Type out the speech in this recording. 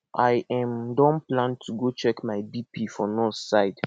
i um don plan to go check my bp for nurse side